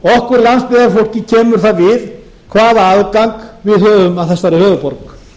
okkur landsbyggðarfólki kemur það við hvaða aðgang við höfum að þessari höfuðborg